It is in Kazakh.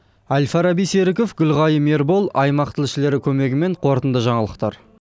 әл фараби серіков гүлғайым ербол аймақ тілшілері көмегімен қорытынды жаңалықтар